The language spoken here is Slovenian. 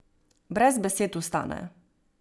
Brez besed vstane.